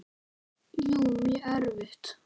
Jú, mjög erfitt.